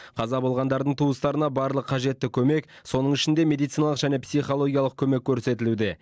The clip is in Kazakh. қаза болғандардың туыстарына барлық қажетті көмек соның ішінде медициналық және психологиялық көмек көрсетілуде